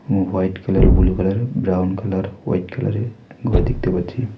উঃ white colour blue colour -এর brown colour white colour -এর ঘর দেখতে পাচ্ছি।